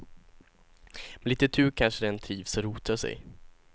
Med lite tur kanske den trivs och rotar sig.